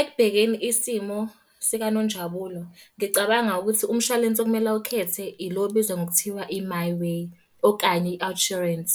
Ekubhekeni isimo sikaNonjabulo, ngicabanga ukuthi umshwalense okumele awukhethe ilo obizwa ngokuthiwa i-MiWay, okanye i-OUTsurance.